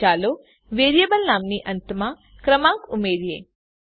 હવે ચાલો વેરીએબલ નામની અંતમાં ક્રમાંક ઉમેરીએ